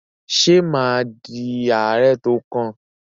Ṣé mà á di ààrẹ tó kàn?